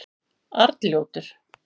Arnljótur